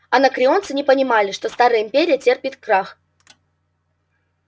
анакреонцы не понимали что старая империя терпит крах